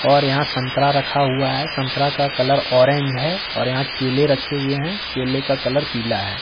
और यहां संतरा रखा हुआ है संतरा का कलर ऑरेंज है और यहां केले रखे हुए हैं केले का कलर पीला है।